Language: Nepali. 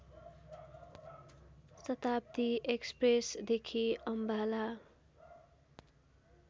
शताब्‍दी एक्‍सप्रेसदेखि अम्बाला